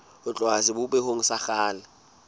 ho tloha sebopehong sa kgale